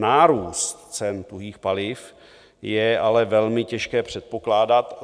Nárůst cen tuhých paliv je ale velmi těžké předpokládat.